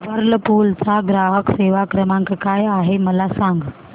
Whirlpool चा ग्राहक सेवा क्रमांक काय आहे मला सांग